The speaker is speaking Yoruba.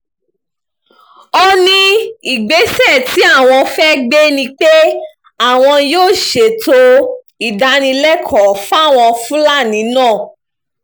ó ní ìgbésẹ̀ tí àwọn fẹ́ẹ́ gbé ni pé àwọn yóò ṣètò ìdánilẹ́kọ̀ọ́ fáwọn fúlàní náà